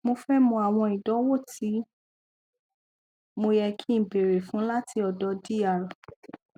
mo fé mọ àwọn ìdánwò ti mo yẹ kí n béèrè fún láti ọdọ dr